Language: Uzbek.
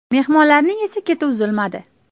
Mehmonlarning esa keti uzilmadi.